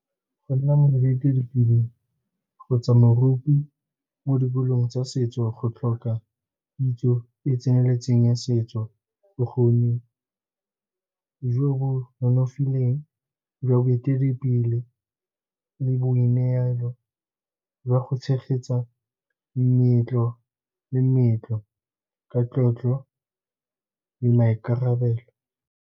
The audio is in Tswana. Go nna moeteledipele kgotsa moruti mo dikolong tsa setso, go tlhoka kitso e e tseneletseng ya setso, bokgoni jo bo nonofileng jwa boeteledipele le boineelo jwa go tshegetsa meetlo le meetlo ka tlotlo le maikarabelo.